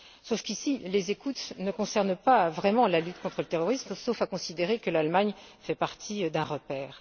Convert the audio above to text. Sauf qu'ici, les écoutes ne concernent pas vraiment la lutte contre le terrorisme, sauf à considérer que l'Allemagne fait partie d'un repère.